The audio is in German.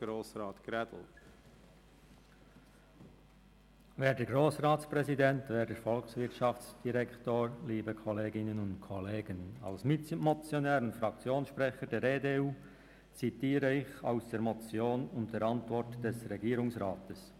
Als Mitmotionär und Fraktionssprecher der EDU zitiere ich aus der Motion und der Antwort des Regierungsrats: